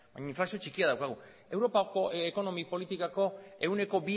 deflazioan baina inflazio txikia daukagu europako ekonomi politikako ehuneko